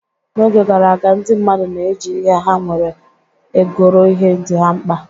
N'oge gara aga, ndị mmadụ na-eji ihe ha nwere egoro ihe dị ha mkpa.